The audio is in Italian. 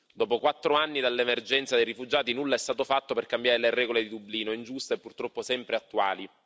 Dopo quattro anni dall'emergenza dei rifugiati, nulla è stato fatto per cambiare le regole di Dublino, ingiuste e purtroppo sempre attuali.